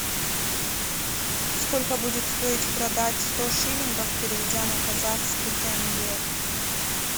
сколько будет стоить продать сто шиллингов переведя на казахский тенге